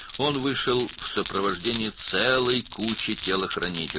O, bir sürü cangüdənin müşayiəti ilə çıxdı.